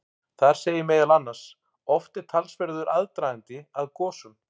Þar segir meðal annars: Oft er talsverður aðdragandi að gosum.